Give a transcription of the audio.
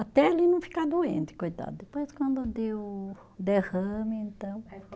Até ele não ficar doente, coitado, depois quando deu o derrame, então